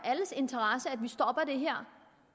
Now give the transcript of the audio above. alles interesse at vi stopper det her